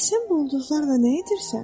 Bəs sən bu ulduzlarla nə edirsən?